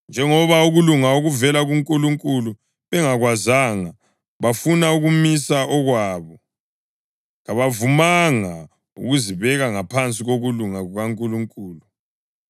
Njengoba ukulunga okuvela kuNkulunkulu bengakwazanga bafuna ukumisa okwabo, kabavumanga ukuzibeka ngaphansi kokulunga kukaNkulunkulu.